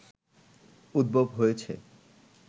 উদ্ভব হয়েছে